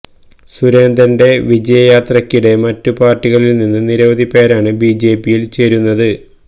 സുരേന്ദ്രന്റെ വിജയയാത്രക്കിടെ മറ്റു പാര്ട്ടികളില് നിന്ന് നിരവധി പേരാണ് ബിജെപിയില് ചേരുന്നത്